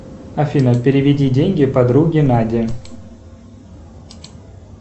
афина переведи деньги подруге наде